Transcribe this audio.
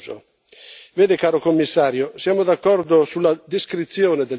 Vede, caro commissario, siamo d'accordo con lei sulla descrizione del problema